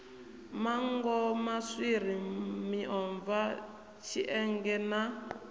manngo maswiri miomva tshienge na